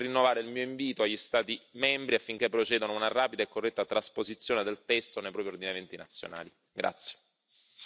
Colgo questa occasione per rinnovare il mio invito agli Stati membri affinché procedano ad una rapida e corretta trasposizione del testo nei propri ordinamenti nazionali.